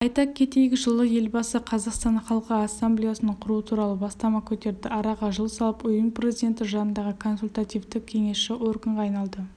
айта кетейік жылы елбасы қазақстан халқы ассамблеясын құру туралы бастама көтерді араға жыл салып ұйым президент жанындағы консультативті-кеңесші органға айналды